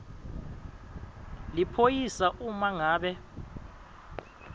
liphoyisa uma ngabe